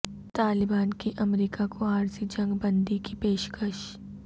طالبان کی امریکہ کو عارضی جنگ بندی کی پیش کش